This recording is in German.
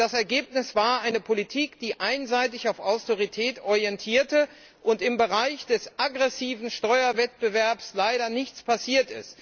Das Ergebnis war eine Politik, die sich einseitig an der Austerität orientierte, und im Bereich des aggressiven Steuerwettbewerbs ist leider nichts passiert.